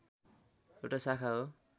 एउटा शाखा हो